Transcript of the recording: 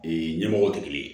ɲɛmɔgɔw tɛ kelen ye